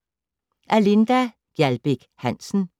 Af Linda Gjaldbæk Hansen